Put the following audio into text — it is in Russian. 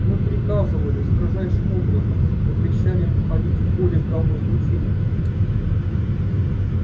мы приказывали строжайшим образом запрещали им входить в поле гамма-излучения